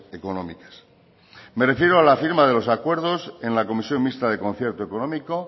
económicas me refiero a la firma de los acuerdos en la comisión mixta de concierto económico